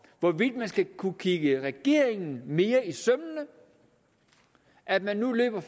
hvorvidt man skal kunne kigge regeringen mere i sømmene at man nu løber